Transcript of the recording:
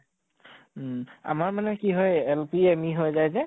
উম । আমাৰ মানে কি হয় L.P M.Eহৈ যায় যে